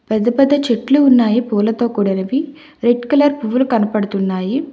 పెద్ద పెద్ద చెట్లు ఉన్నాయి పూలతో కూడినవి రెడ్ కలర్ పువ్వులు కనపడుతున్నాయి.